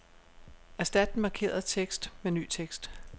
Erstat den markerede tekst med ny tekst.